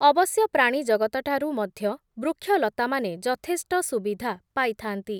ଅବଶ୍ୟ ପ୍ରାଣୀ ଜଗତଠାରୁ ମଧ୍ୟ ବୃକ୍ଷଲତାମାନେ ଯଥେଷ୍ଟ ସୁବିଧା ପାଇଥା’ନ୍ତି ।